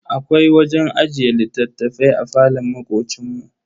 Akwai wajen ajiye littattafai a falon makocin mu.